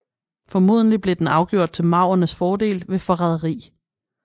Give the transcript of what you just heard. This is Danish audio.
Formodentlig blev den afgjort til maurernes fordel ved forræderi